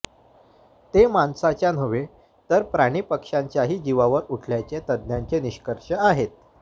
ते माणसाच्या नव्हे तर प्राणिपक्षांच्याही जीवावर उठल्याचे तज्ज्ञांचे निष्कर्ष आहेत